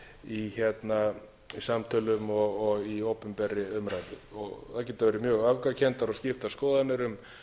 í samtölum og í opinberri umræðu það geta verið mjög öfgakenndar og skiptar skoðanir um